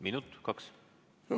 Minut, kaks?